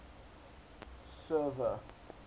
server